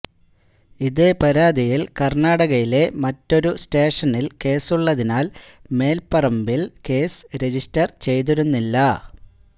ഇതേ പരാതിയില് കര്ണാടകയിലെ മറ്റൊരു സ്റ്റേഷനില് കേസുള്ളതിനാല് മേല്പറമ്പില് കേസ് റജിസ്റ്റര് ചെയ്തിരുന്നില്ല